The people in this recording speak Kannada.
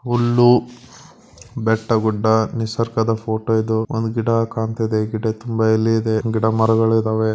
ಹುಲ್ಲು ಬೆಟ್ಟ ಗುಡ್ಡ ನಿಸರ್ಗದ ಫೋಟೋ ಇದು ಒಂದು ಗಿಡ ಕಾಣುತ್ತಿದೆ ಗಿಡದ ತುಂಬಾ ಎಲೆ ಇದೆ ಗಿಡ ಮರಗಳು ಇದಾವೆ.